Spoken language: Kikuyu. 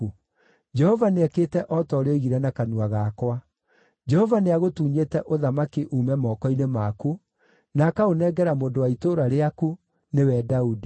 Jehova nĩekĩte o ta ũrĩa oigire na kanua gakwa. Jehova nĩagũtunyĩte ũthamaki uume moko-inĩ maku, na akaũnengera mũndũ wa itũũra rĩaku, nĩwe Daudi.